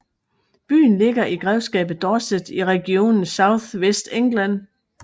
Byen ligger i grevskabet Dorset i regionen South West England